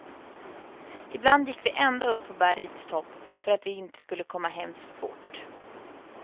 Ibland gick vi ända upp på bergets topp, för att vi inte skulle komma hem för fort.